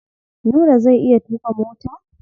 Nura zai iya tuƙa mota?